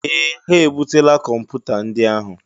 Ee! Ha ebutela kọmpụta ndị ahụ.